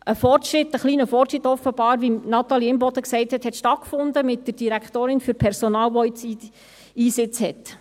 Ein kleiner Fortschritt, wie dies Natalie Imboden sagte, fand mit der Direktorin Personal statt, welche jetzt Einsitz hat.